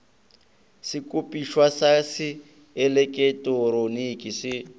sekopišwa sa se eleketeroniki se